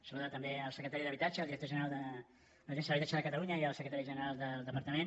saludar també el secretari d’habitatge el director general de l’agència de l’habitatge de catalunya i el secretari general del departament